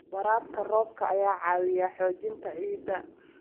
Waraabka roobka ayaa caawiya xoojinta ciidda.